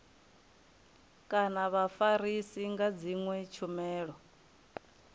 kana vhafarisi nga dzinwe tshumelo